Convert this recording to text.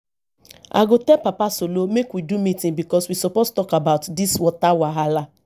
i go tell papa solo make we do meeting because we suppose talk about dis water wahala